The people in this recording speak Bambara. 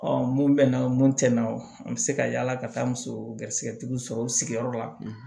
mun bɛ na mun tɛ na o an bɛ se ka yala ka taa muso garisɛgɛ tigiw sɔrɔ u sigiyɔrɔ la